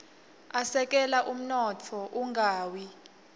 asekela umnotfo ungawi